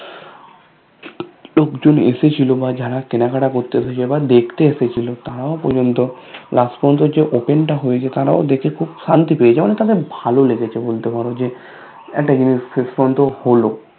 লোকজন এসেছিলো বা যারা কেনাকাটা করতে এসেছে বা দেখতে এসেছিলো তারাও পর্যন্ত Last পর্যন্ত যে Open টা হয়েছে তারাও দেখে খুব শান্তি পেয়েছে অনেকটা বেশ ভালো লেগেছে বলতে পারো যে একটা জিনিস শেষপর্যন্ত হলো